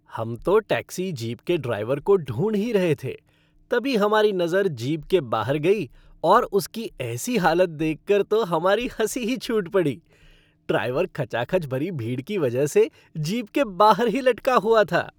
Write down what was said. हम तो taxi jeep के ड्राइवर को ढूंढ ही रहे थे, तभी हमारी नज़र जीप के बाहर गई और उसकी ऐसी हालत देखकर तो हमारी हँसी ही छूट पड़ी, ड्राइवर खचाखच भरी भीड़ की वजह से जीप के बाहर ही लटका हुआ था।